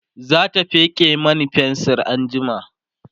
zata feke Mani fensir anjima